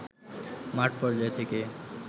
মাঠ পর্যায় থেকে